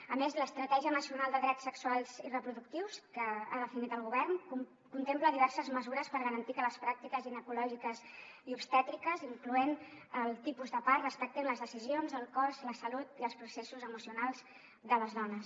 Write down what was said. a més l’estratègia nacional de drets sexuals i reproductius que ha definit el govern contempla diverses mesures per garantir que les pràctiques ginecològiques i obstètriques incloent hi el tipus de part respectin les decisions el cos la salut i els processos emocionals de les dones